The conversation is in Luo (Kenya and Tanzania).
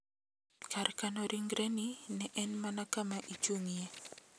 Kar kano ringreni ne en mana kama ichung`ye.